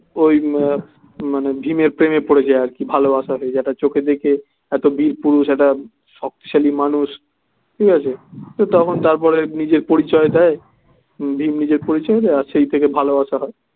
ওই মা~মানে ভীম এর প্রেমে পড়েছে আর কি ভালোবাসা হয়েছে একটা চোখে দেখে একটা বীরপুস্রুষ একটা শক্তিশালী মানুষ ঠিক আছে তখন তারপরে নিজের পরিচয় দেয় ভীম নিজের পরিচয় দেয় আর সেই থেকে ভালোবাসা হয়.